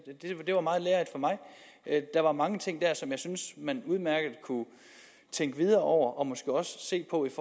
det var meget lærerigt for mig der var mange ting der som jeg synes man udmærket kunne tænke videre over og måske også se på i